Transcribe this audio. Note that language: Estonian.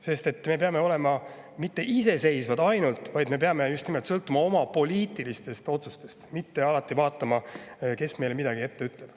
Sest me peame olema mitte ainult iseseisvad, vaid me peame just nimelt oma poliitilistele otsustele, mitte alati vaatama, kes meile midagi ette ütleb.